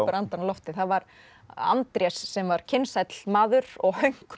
andann á lofti það var Andrés sem var maður og hönk